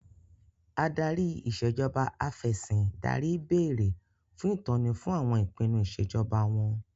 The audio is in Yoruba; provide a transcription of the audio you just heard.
Adarí Ìṣèjọba Af'ẹ̀sìndarí béèrè fún ìtọ́ni fún àwọn ìpinnu Ìṣèjọba wọn